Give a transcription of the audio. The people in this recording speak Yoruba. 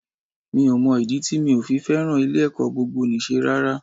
Mi ò mọ ìdí tí mi ò fi fẹ́ràn ilé-ẹ̀kọ́ gbogboníṣe rárá